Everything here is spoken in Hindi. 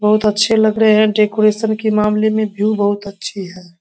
बहुत अच्छे लग रहे हैं डेकोरेशन के मामले में व्यू बहुत अच्छी है।